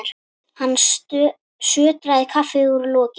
Hann sötraði kaffið úr lokinu.